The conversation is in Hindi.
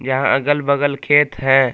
यहां अगल बगल खेत है।